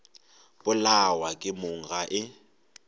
polawa ke mong ga e